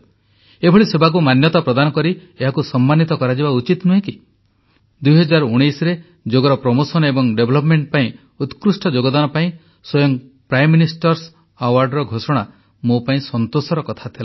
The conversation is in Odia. ଏଭଳି ସେବାକୁ ମାନ୍ୟତା ପ୍ରଦାନ କରି ଏହାକୁ ସମ୍ମାନିତ କରାଯିବା ଉଚିତ ନୁହେଁ କି 2019ରେ ଯୋଗର ପ୍ରସାର ଏବଂ ବିକାଶ ପାଇଁ ଉତ୍କୃଷ୍ଟ ଯୋଗଦାନ ଦେଇଥିବା ବ୍ୟକ୍ତି ଓ ଅନୁଷ୍ଠାନକୁ ସମ୍ମାନୀତ କରିବା ଲାଗି ପ୍ରାଇମ୍ ମିନିଷ୍ଟର୍ସ ଆୱାର୍ଡର ଘୋଷଣା ମୋ ପାଇଁ ସନ୍ତୋଷର କଥା ଥିଲା